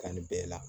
Kan nin bɛɛ la